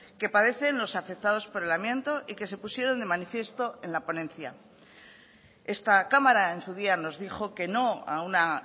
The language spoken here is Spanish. que padecen los afectados por el amianto y que se pusieron de manifiesto en la ponencia esta cámara en su día nos dijo que no a una